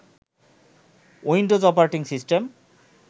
Windows operating system